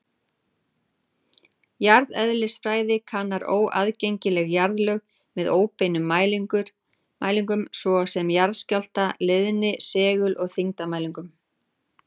Jarðeðlisfræði kannar óaðgengileg jarðlög með óbeinum mælingum, svo sem jarðskjálfta-, leiðni-, segul- og þyngdarmælingum.